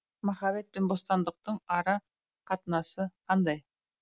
махаббатпен бостандықтың ара қатынасы қандай